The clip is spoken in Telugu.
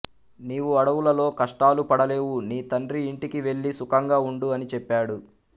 నీవు అడవులలో కష్టాలు పడలేవు నీ తండ్రి ఇంటికి వెళ్ళి సుఖంగా ఉండు అని చెప్పాడు